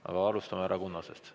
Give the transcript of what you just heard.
Aga alustame härra Kunnasest.